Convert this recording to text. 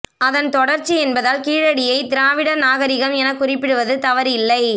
அதன் தொடர்ச்சி என்பதால் கீழடியை திராவிடர் நாகரிகம் என குறிப்பிடுவது தவறு இல்லை